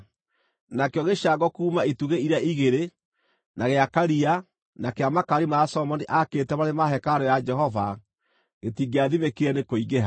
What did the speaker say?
Nakĩo gĩcango kuuma itugĩ iria igĩrĩ, na gĩa Karia, na kĩa makaari marĩa Solomoni aakĩte marĩ ma hekarũ ya Jehova, gĩtingĩathimĩkire nĩ kũingĩha.